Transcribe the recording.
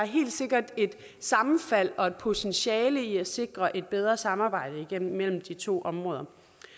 helt sikkert et sammenfald og et potentiale i at sikre et bedre samarbejde imellem de to områder